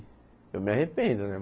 Eu me arrependo, né?